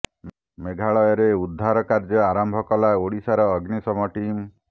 ମେଘାଳୟରେ ଉଦ୍ଧାର କାର୍ଯ୍ୟ ଆରମ୍ଭ କଲା ଓଡ଼ିଶାର ଅଗ୍ନିଶମ ଟିମ୍